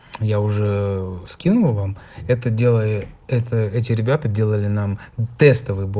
я уже скинул вам это делает это эти ребята делали тестовый